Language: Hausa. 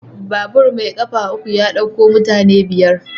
Babur mai ƙafa uku ya ɗauko mutane biyar.